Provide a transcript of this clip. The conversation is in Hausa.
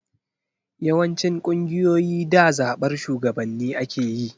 Yawancin ƙungiyoyi da zaɓar shugabanni ake yi.